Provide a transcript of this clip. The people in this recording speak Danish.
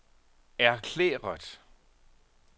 erklæret